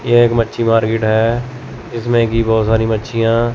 ये एक मच्छी मार्केट है जिसमें की बहुत सारी मच्छियां--